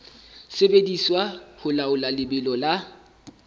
sebediswa ho laola lebelo la